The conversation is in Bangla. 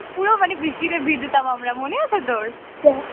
পুরো মানে বৃষ্টিতে ভিজতাম আমরা মনে আছে তোর